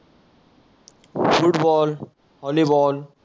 football, volleyball